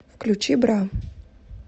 включи бра